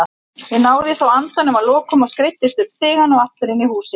Ég náði þó andanum að lokum og skreiddist upp stigann og aftur inn í húsið.